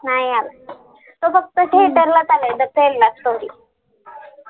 नाही आला तो फक्त theater लाच आला आहे the Kerala story